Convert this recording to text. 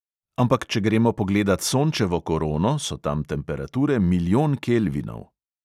Ampak če gremo pogledat sončevo korono, so tam temperature milijon kelvinov.